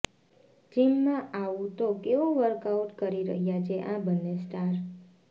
જીમમાં આવું તો કેવું વર્કઆઉટ કરી રહ્યા છે આ બન્ને સ્ટાર